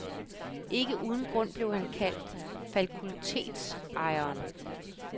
Ikke uden grund blev han kaldt fakultetsejeren.